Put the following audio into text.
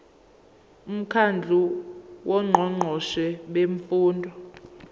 umkhandlu wongqongqoshe bemfundo